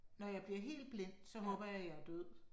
Når jeg bliver helt blind så håber jeg at jeg er død